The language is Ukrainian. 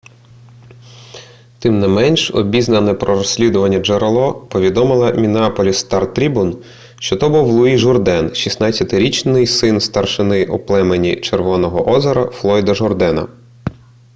тим не менш обізнане про розслідування джерело повідомило міннеаполіс стар-трібун що то був луї журден 16-річний син старшини у племені червоного озера флойда журдена